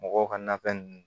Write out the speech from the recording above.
Mɔgɔw ka nafɛn ninnu